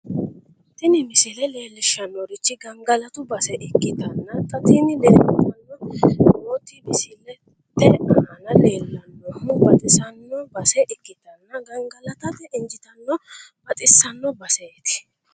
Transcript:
tini misile leellishshannorichi gangalatu base ikkitanna xa tini leeltanni nooti misilete aana leellannohu baxissanno base ikkitanna gangalatate injiitanno baxissanno baseeti.